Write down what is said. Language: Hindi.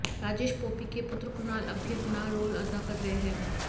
राजेश पोपी के पुत्र कुनाल अब भी अपना रोल अदा कर रहे हैं